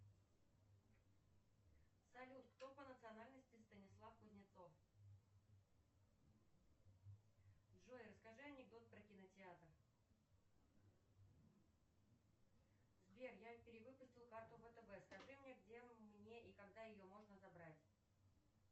салют кто по национальности станислав кузнецов джой расскажи анекдот про кинотеатр сбер я перевыпустил карту втб скажи мне где мне и когда ее можно забрать